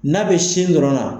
N'a bɛ sin dɔrɔn na.